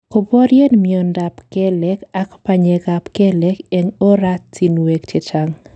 Kiborien miondap kelek ak panyekab kelek en oratinwek chechang'.